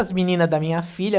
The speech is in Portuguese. As menina da minha filha.